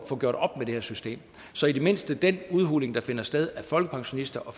få gjort op med det her system så i det mindste den udhuling der finder sted af folkepensionisters og